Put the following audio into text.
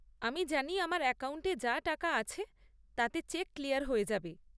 আমি জানি আমার অ্যাকাউন্টে যা টাকা আছে তাতে চেক ক্লিয়ার হয়ে যাবে।